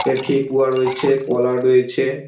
এ ঠেকুয়া রয়েছে কলা রয়েছে।